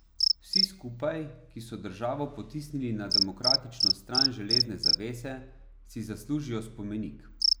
Vsi skupaj, ki so državo potisnili na demokratično stran železne zavese, si zaslužijo spomenik.